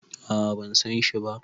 a a ban San shi ba